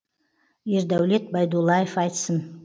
ердаулет байдуллаев айтсын